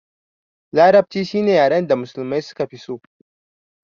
Larabci shine yaren da musulmai suka fi so